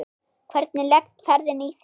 Hvernig leggst ferðin í þig?